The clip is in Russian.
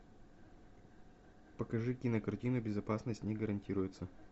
покажи кинокартину безопасность не гарантируется